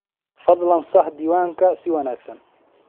Fadlan sax diiwaankan si wanagsan.